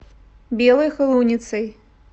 белой холуницей